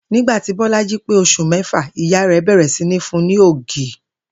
Nígbà tí Bó̩lájí pé os̩ù mé̩fà, ìyá rè̩ bè̩rè̩ sí ní fun ní ògì